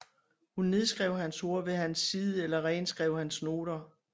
Hun nedskrev hans ord ved hans side eller renskrev hans noter